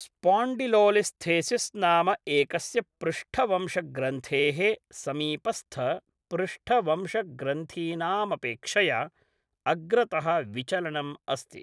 Spondylolisthesis नाम एकस्य पृष्ठवंशग्रन्थेः समीपस्थपृष्ठवंशग्रन्थीनामपेक्षया अग्रतः विचलनम् अस्ति।